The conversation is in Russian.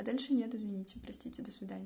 а дальше нет извините простите до свидания